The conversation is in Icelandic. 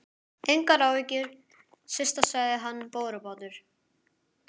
Engar áhyggjur, Systa sagði hann borubrattur.